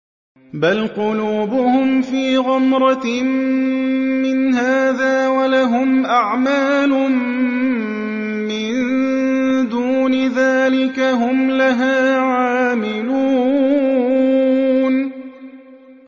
بَلْ قُلُوبُهُمْ فِي غَمْرَةٍ مِّنْ هَٰذَا وَلَهُمْ أَعْمَالٌ مِّن دُونِ ذَٰلِكَ هُمْ لَهَا عَامِلُونَ